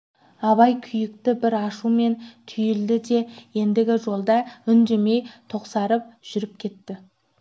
абай күйікті бір ашумен түйілді де ендігі жолда үндемей томсарып жүріп кетті